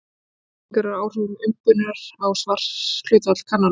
Ýmsar skýringar eru á áhrifum umbunar á svarhlutfall kannana.